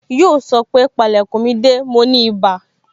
Yoo sọ pé, Pale kun mi de, mi ò ní ibà